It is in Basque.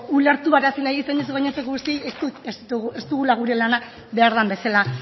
ulertarazi baina ez dugula gure lanak behar den bezala